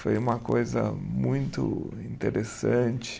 Foi uma coisa muito interessante.